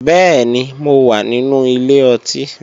Bẹ́ẹ̀ni, mo wà nínú ilé ọtí